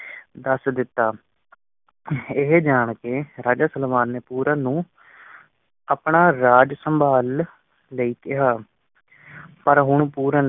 ਦੱਸ ਬੇਟਾ ਇਹ ਜਾਣ ਕੇ ਰਾਜਾ ਸਲਵਾਨ ਨੇ ਪੂਰਨ ਨੂੰ ਆਪਣਾ ਰਾਜ ਸੰਭਾਲਣ ਲਈ ਕਿਹਾ ਪਾਰ ਹੁਣ ਪੂਰਨ